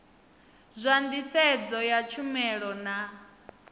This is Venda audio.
zwa nḓisedzo ya tshumelo na